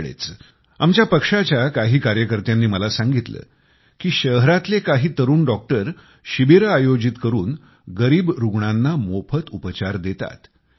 अलीकडेच आमच्या पक्षाच्या काही कार्यकर्त्यांनी मला सांगितलं कि शहरातले काही तरुण डॉक्टर शिबिरं आयोजित करून गरीब रुग्णांना मोफत उपचार देतात